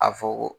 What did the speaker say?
A fɔ ko